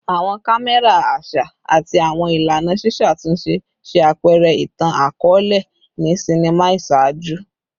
Awọn kamẹra aṣa ati awọn ilana ṣiṣatunṣe ṣe apẹrẹ itan-akọọlẹ ni sinima iṣaaju